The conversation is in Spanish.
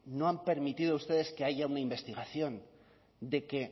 no han permitido ustedes que haya una investigación de que